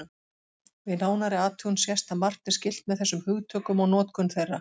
Við nánari athugun sést að margt er skylt með þessum hugtökum og notkun þeirra.